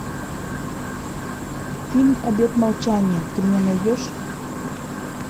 фильм обет молчания ты мне найдешь